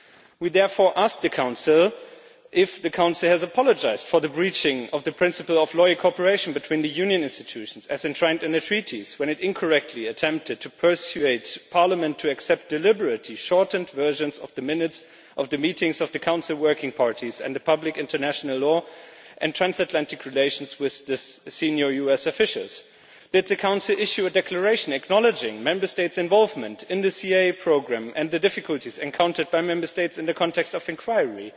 We therefore ask the Council if it has apologised for the breaching of the principle of sincere cooperation between the Union institutions, as enshrined in the Treaties, when it incorrectly attempted to persuade Parliament to accept deliberately shortened versions of the minutes of the meetings of the Council working parties on public international law and transatlantic relations with senior US officials. Did the Council issue a declaration acknowledging Member States' involvement in the CIA programme and the difficulties encountered by Member States in the context of the inquiry?